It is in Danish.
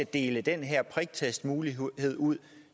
dele den her priktestmulighed ud